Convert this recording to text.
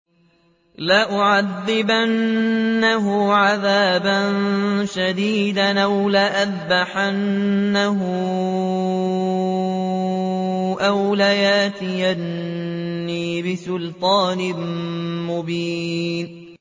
لَأُعَذِّبَنَّهُ عَذَابًا شَدِيدًا أَوْ لَأَذْبَحَنَّهُ أَوْ لَيَأْتِيَنِّي بِسُلْطَانٍ مُّبِينٍ